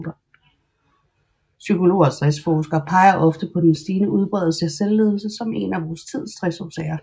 Psykologer og stressforskere peger ofte på den stigende udbredelse af selvledelse som en af vor tids stressårsager